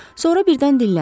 Sonra birdən dilləndi.